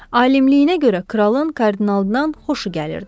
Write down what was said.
Alimliyinə görə kralın kardinaldan xoşu gəlirdi.